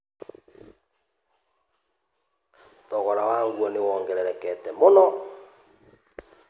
Thogora wa nguo nĩ wongererekete mũno.